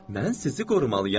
Mən sizi qorumalıyam.